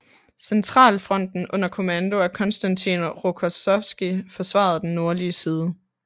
Centralfronten under kommando af Konstantin Rokossovskij forsvarede den nordlige side